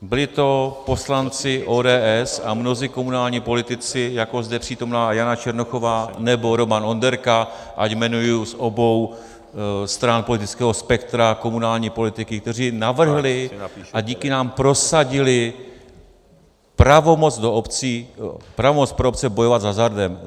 Byli to poslanci ODS a mnozí komunální politici, jako zde přítomná Jana Černochová nebo Roman Onderka, ať jmenuji z obou stran politického spektra komunální politiky, kteří navrhli a díky nám prosadili pravomoc pro obce bojovat s hazardem.